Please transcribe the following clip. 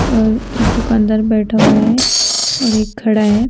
और एक दुकानदार बैठा हुआ है और एक खड़ा है।